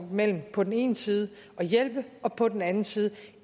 mellem på den ene side at hjælpe og på den anden side